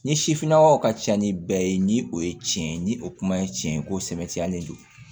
Ni sifinnakaw ka ca ni bɛɛ ye ni o ye tiɲɛ ye ni o kuma ye tiɲɛ ye ko sɛbɛtiyalen don